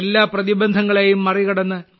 എല്ലാ പ്രതിബന്ധങ്ങളെയും മറികടന്ന്